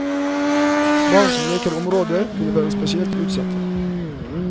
Barn som leker i området vil være spesielt utsatt.